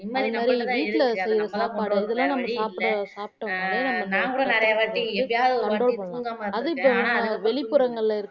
நிம்மதி நம்ப கிட்ட தான் இருக்கு அதை நம்மதா வேற வழி இல்ல ஆஹ் நான் கூட நிறையவாட்டி எப்பயாவது ஒரு வாட்டி தூங்காம இருந்துருக்கே ஆனா அதுக்கு அப்பறோம் தூங்கிருவே